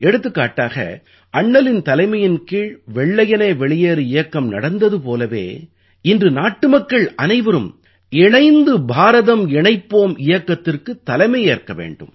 எடுத்துக்காட்டாக அண்ணலின் தலைமையின் கீழ் வெள்ளையனே வெளியேறு இயக்கம் நடந்தது போலவே இன்று நாட்டுமக்கள் அனைவரும்இணைந்து பாரதம் இணைப்போம் இயக்கத்திற்குத் தலைமையேற்க வேண்டும்